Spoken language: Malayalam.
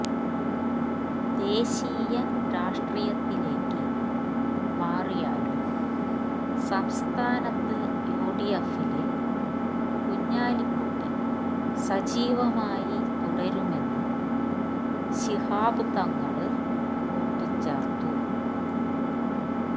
ദേശീയ രാഷ്ട്രീയത്തിലേക്ക് മാറിയാലും സംസ്ഥാനത്ത് യുഡിഎഫില് കുഞ്ഞാലിക്കുട്ടി സജീവമായി തുടരുമെന്ന് ശിഹാബ് തങ്ങള് കൂട്ടിച്ചേര്ത്തു